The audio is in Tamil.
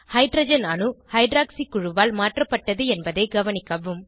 ஹைட்ரஜன் அணு ஹைட்ராக்சி குழுவால் மாற்றப்பட்டது என்பதை கவனிக்கவும்